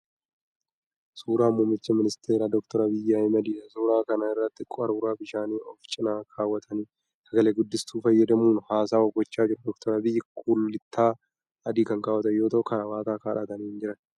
Suuraa muummicha ministeeraa Dr. Abiyyi Ahimadiidha. Suuraa kana irratti qaruuraa bishaanii ofi cina kaawwatanii sagaleee guddistuu fayyadamuun haasawwaa gochaa jiru. Dr. Abiyyi kullittaa adii kan kaawwatan yoo ta'u karaabaataa godhatanii hin jiran.